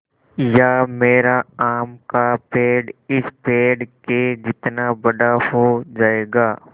या मेरा आम का पेड़ इस पेड़ के जितना बड़ा हो जायेगा